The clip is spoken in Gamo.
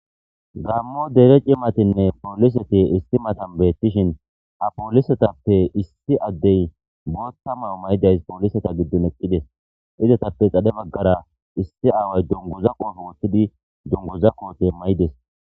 Gammo dere cimatinne pooliseti isti matan beettishin apoolisetappe issi addey bootta mayo may7idays pooliseta giddon eqqides izatappe xadhe baggara issi aaway dunguza qooto woththidi dungoza qoote may7ides.